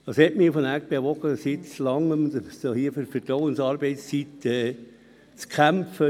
Was hat mich bewogen, seit Langem für die Vertrauensarbeitszeit zu kämpfen?